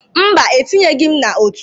Mba, etinye gị m n'ọtú.